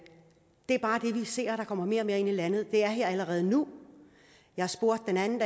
ser at der kommer mere og mere ind i landet af det er her allerede nu jeg spurgte den anden